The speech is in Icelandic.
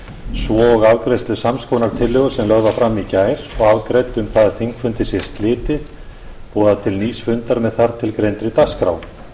svo og afgreiðslu sams konar tillögu sem lögð var fram í gær og afgreidd um það að þingfundi sé slitið og boðað til nýs fundar með þartilgreindri dagskrár þótt hér sé